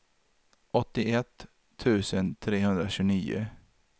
åttioett tusen trehundratjugonio